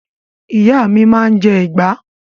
Ìyá mi máa ń jẹ ìgbá.